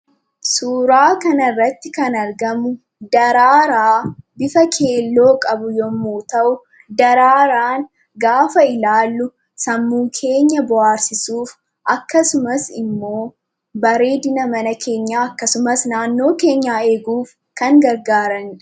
Suuraa kana irratti kan argamu daraaraa bifa keelloo qabu yemmuu ta'u, daraaraan gaafa ilaallu sammuu keenya bohaarsisuuf, akkasumas immoo bareedina mana keenyaa, akkasumas naannoo keenyaa eeguuf kan gargaaraniidha.